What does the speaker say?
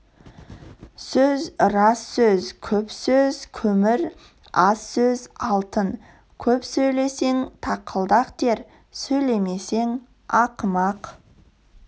сөз рас сөз көп сөз көмір аз сөз алтын көп сөйлесең тақылдақ дер сөйлемесің ақымақ